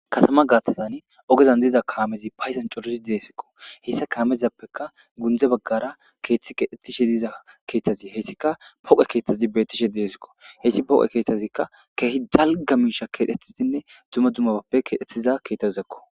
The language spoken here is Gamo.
Kasama gaatazan ogezan diiza kaamezi payzan coruzi deesikko hessa kaamezappeka gundze baggara keeththi keedhettishe diza keeththazi heyssika poqe keeththazi beettishe deesikko heyssi poqe keeththazikka keehi dalga miisha keedhetisinne duma dumaappe keedhettiza keethtazizakko.